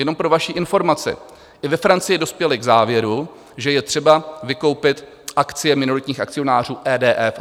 Jenom pro vaši informaci, i ve Francii dospěli k závěru, že je třeba vykoupit akcie minoritních akcionářů EDF.